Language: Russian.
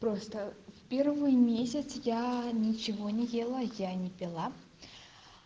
просто в первый месяц я ничего не ела я не пила